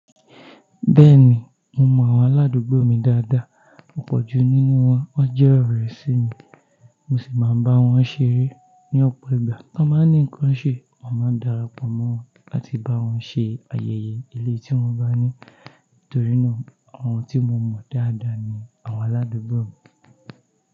Bẹ́ẹ̀ni, mo mọ àwọn aládùúgbò mi dáadáa, ọ̀pọ̀ ju nínú wọn waa jẹ́ ọ̀rẹ́ sí mi, mo sì máa ń bá wọn ṣeré ní ọ̀pọ̀ ìgbà. Tan bá ní nǹkan ṣè, a màá n darapọ̀ mọ́ wọn láti bá wọn ṣe ayẹyẹ eleyii tí wọ́n bá ní, torí náà àwọn tí mo mọ dáadáa ni àwọn aládùúgbò mi.